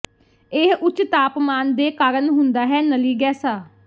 ਇਹ ਉੱਚ ਤਾਪਮਾਨ ਦੇ ਕਾਰਨ ਹੁੰਦਾ ਹੈ ਨਲੀ ਗੈਸਾ